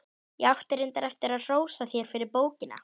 Í og með, sagði sá langleiti, nokkuð drýldinn.